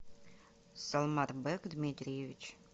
салморбек дмитриевич